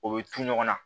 O bɛ ton ɲɔgɔn na